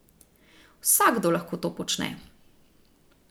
Vsakdo lahko to počne.